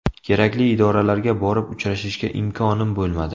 Kerakli idoralarga borib uchrashishga imkonim bo‘lmadi.